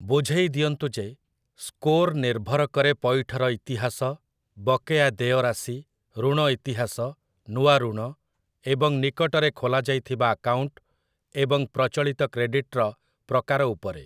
ବୁଝେଇ ଦିଅନ୍ତୁ ଯେ, ସ୍କୋର ନିର୍ଭର କରେ ପଇଠର ଇତିହାସ, ବକେୟା ଦେୟ ରାଶି, ଋଣ ଇତିହାସ, ନୂଆ ଋଣ ଏବଂ ନିକଟରେ ଖୋଲାଯାଇଥିବା ଆକାଉଣ୍ଟ ଏବଂ ପ୍ରଚଳିତ କ୍ରେଡିଟର ପ୍ରକାର ଉପରେ ।